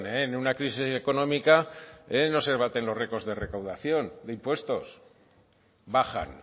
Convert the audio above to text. eh en una crisis económica no se baten los récords de recaudación de impuestos bajan